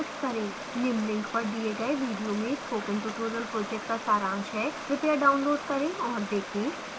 निम्न link पर the गए video में spoken tutorial project का सारांश है कृपया download करें और देखें